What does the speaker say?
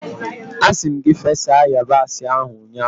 Asi m gi fesa yabasị ahu ụnyahụ!